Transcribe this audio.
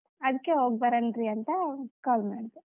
ಅದಕೆ ಹೋಗಿ ಬರೋನ್ರೀ ಅಂತ call ಮಾಡಿದೆ.